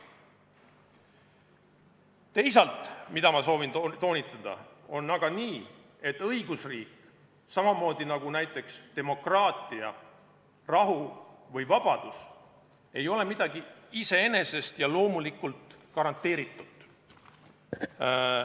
Teisalt on aga nii, soovin toonitada, et õigusriik – samamoodi nagu demokraatia, rahu või vabadus – ei ole midagi iseenesest ja loomulikult garanteeritut.